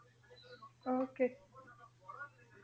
Okay